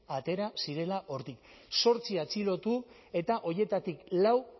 atera zirela hortik zortzi atxilotu eta horietatik lau